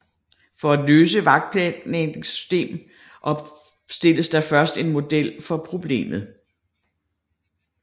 For at løse et vagtplanlægningssystem opstilles der først en model for problemet